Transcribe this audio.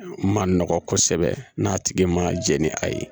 Ma nɔgɔ kosɛbɛ n'a tigi ma jɛn ni a ye